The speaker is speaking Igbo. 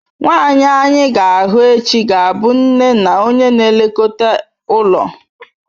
Nwanyị anyị ga-ahụ echi ga-abụ nne na onye na-elekọta ụlọ.